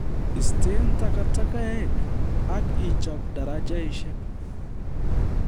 Istee takatakek ak ichob darajeshek